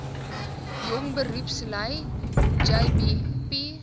jong beroepslui jbp